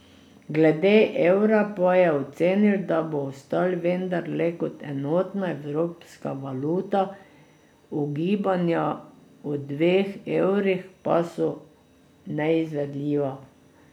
Glede evra pa je ocenil, da bo obstal, vendar le kot enotna evropska valuta, ugibanja o dveh evrih pa so neizvedljiva.